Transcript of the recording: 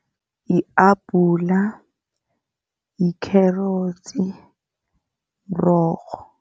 Yi-abhula, yi-carrots, mrorho.